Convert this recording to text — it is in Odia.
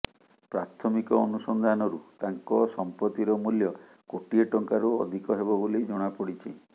ପ୍ରାଥମିକ ଅନୁସନ୍ଧାନରୁ ତାଙ୍କ ସମ୍ପତ୍ତିର ମୂଲ୍ୟ କୋଟିଏ ଟଙ୍କାରୁ ଅଧିକ ହେବ ବୋଲି ଜଣାପଡ଼ିଛି